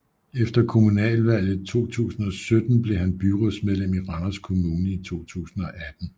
Efter kommunalvalget 2017 blev han byrådsmedlem i Randers Kommune i 2018